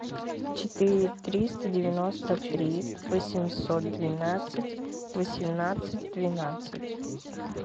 четыре триста девяносто три восемьсот двенадцать восемнадцать двенадцать